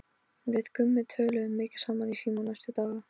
Gaukur, er opið í Húsasmiðjunni?